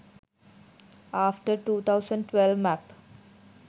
after 2012 map